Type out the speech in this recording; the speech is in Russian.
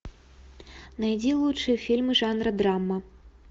найди лучшие фильмы жанра драма